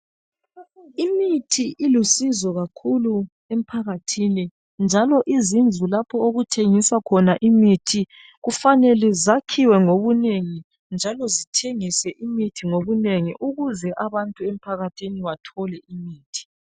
Imithi ilusizo kakhulu emphakathini njalo izindlu lapho okuthengiswa khona imithi kufanele zakhiwe ngobunengi njalo zithengise imithi ngobunengi ukuze abantu emphakathini bathole imithi.